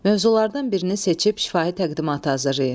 Mövzulardan birini seçib şifahi təqdimatı hazırlayın.